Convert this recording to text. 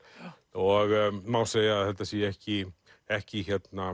og má segja að þetta sé ekki ekki